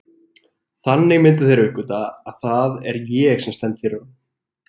Þannig myndu þeir uppgötva, að það er ég sem stend fyrir honum.